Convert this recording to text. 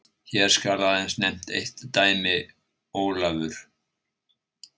Hér skal aðeins nefnt eitt dæmi: Ólafur